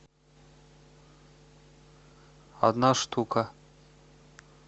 одна штука